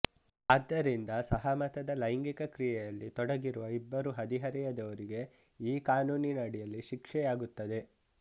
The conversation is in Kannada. ಆದ್ದರಿಂದ ಸಹಮತದ ಲೈಂಗಿಕ ಕ್ರಿಯೆಯಲ್ಲಿ ತೊಡಗಿರುವ ಇಬ್ಬರು ಹದಿಹರೆಯದವರಿಗೆ ಈ ಕಾನೂನಿನಡಿಯಲ್ಲಿ ಶಿಕ್ಷೆಯಾಗುತ್ತದೆ